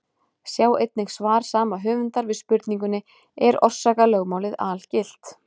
Sjá einnig svar sama höfundar við spurningunni: Er orsakalögmálið algilt?